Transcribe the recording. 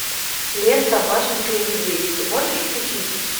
лента машенька и медведь ты можешь включить